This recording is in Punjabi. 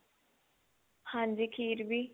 ਹਾਂਜੀ ਖੀਰ ਵੀ